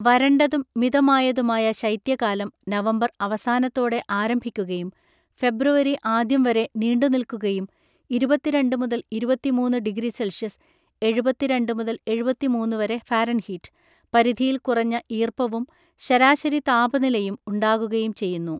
വരണ്ടതും മിതമായതുമായ ശൈത്യകാലം നവംബർ അവസാനത്തോടെ ആരംഭിക്കുകയും ഫെബ്രുവരി ആദ്യം വരെ നീണ്ടുനിൽക്കുകയും ഇരുപത്തിരണ്ട് മുതൽ ഇരുപത്തിമൂന്ന് ഡിഗ്രി സെൽഷ്യസ് (എഴുപത്തി രണ്ട് മുതൽ എഴുപത്തി മൂന്നു വരെ ഫാരൻഹീറ്റ്‌) പരിധിയിൽ കുറഞ്ഞ ഈർപ്പവും ശരാശരി താപനിലയും ഉണ്ടാകുകയും ചെയ്യുന്നു.